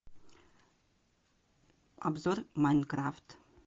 обзор майнкрафт